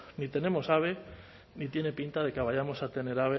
ni tenemos ave ni tiene pinta de que vayamos a tener